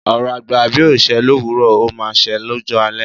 Ọ̀rọ̀ àgbà bí ò ṣẹ́ lówuro, o máa se lọ́jọ́ alẹ̀